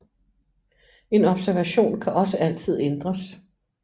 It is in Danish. En observation kan også altid ændres